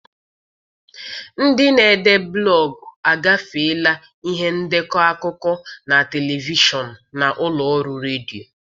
Ndị na-ede blọgụ agafeela ihe ndekọ akụkọ na telivishọn na ụlọ ọrụ redio.